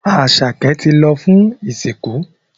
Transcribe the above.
Asake tí lọ fún ìsìnkú.